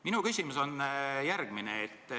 Minu küsimus on järgmine.